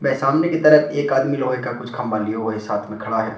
व सामने की तरफ एक आदमी लोहे का कुछ खंभा लिए हुए साथ में खड़ा है।